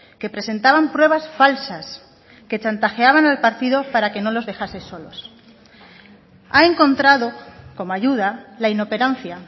que presentaban pruebas falsas que chantajeaban al partido para que no les dejasen solos ha encontrado como ayuda la inoperancia